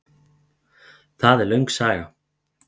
Það er löng saga.